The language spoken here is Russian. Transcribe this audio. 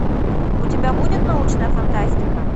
у тебя будет научная фантастика